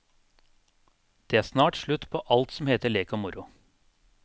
Det er snart slutt på alt som heter lek og morro.